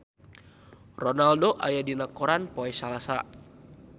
Ronaldo aya dina koran poe Salasa